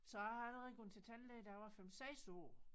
Så jeg har allerede gået til tandlæge da jeg var 5 6 år